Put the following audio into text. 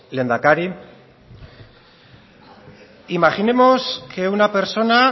lehendakari imaginemos que una persona